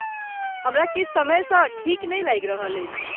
हमरा किछु समयसँ ठीक नहि लागि रहल अछि।